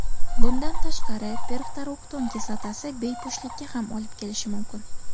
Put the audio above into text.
Bundan tashqari, perftoroktan kislotasi bepushtlikka ham olib kelishi mumkin.